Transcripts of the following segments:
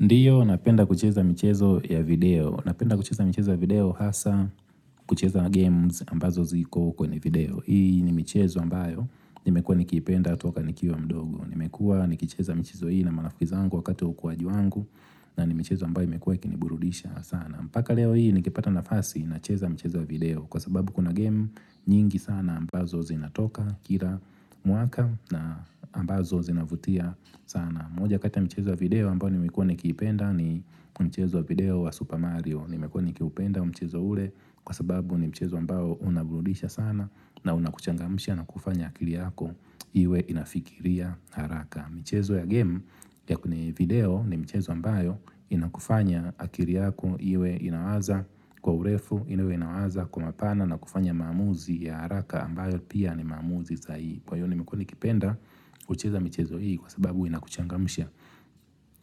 Ndiyo napenda kucheza michezo ya video. Napenda kucheza michezo video hasa kucheza games ambazo ziko kwenye video. Hii ni michezo ambayo nimekuwa nikipenda toka nikiwa mdogo. Nimekuwa nikicheza michezo hii na marafiki zangu wakati wa ukuwaji wangu na ni michezo ambayo imekuwa ikiniburudisha sana. Paka leo hii nikipata nafasi nacheza mchezo wa video kwa sababu kuna game nyingi sana ambazo zinatoka kila mwaka na ambazo zinavutia sana. Moja kati ya michezo ya video ambayo nimekuwa nikipenda ni mchezo wa video wa Super Mario. Nimekuwa nikiupenda mchezo ule kwa sababu ni mchezo ambao unaburudisha sana na unakuchangmsha na kufanya akili yako iwe inafikiria haraka. Michezo ya game ya kuni video ni michezo ambayo inakufanya akili yako iwe inawaza kwa urefu ili iwe inawaza kwa mapana na kufanya maamuzi ya haraka ambayo pia ni maamuzi sahihi. Kwa hiyo nimekuwa nikipenda kucheza michezo hii kwa sababu inakuchangamsha.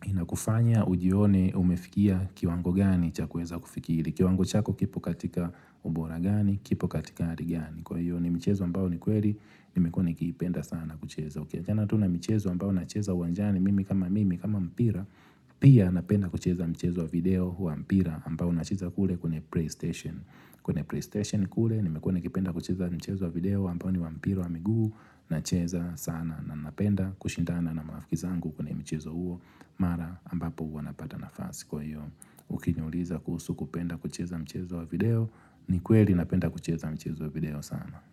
Inakufanya ujione umefikia kiwango gani cha kuweza kufikiri. Kiwango chako kipo katika ubora gani, kipo katika hali gani. Kwa hiyo ni michezo ambayo ni kweli nimekuwa nikiipenda sana na kucheza. Uliwachana tu na michezo ambayo nacheza uwanjani mimi kama mimi kama mpira Pia napenda kucheza mchezo wa video wa mpira ambao unachezwa kule kwenye playstation. Kwenye playstation kule nimekuwa nikipenda kucheza mchezo wa video ambao ni wa mpira wa miguu nacheza sana na napenda kushindana na marafiki zangu kwenye mchezo huo mara ambapo huwa napata nafasi kwa hiyo ukiniuliza kuhusu kupenda kucheza mchezo wa video ni kweli napenda kucheza mchezo wa video sana.